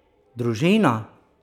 Družina!